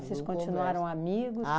Vocês continuaram amigos?